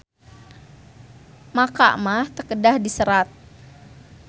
MAKA mah teu kedah diserat.